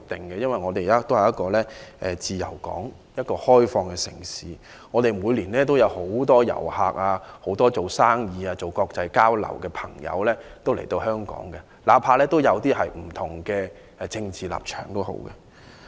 香港是一個自由港、一個開放的城市，每年有很多遊客、商人和參與國際交流的人來，哪怕有些人持有不同的政治立場。